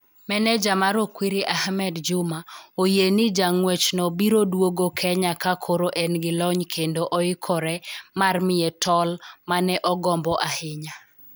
Maneja mar Okwiri, Ahmed Juma, oyie ni jang'wechno biro duogo Kenya ka koro en gi lony kendo oikore mar miye tol ma ne ogombo ahinya.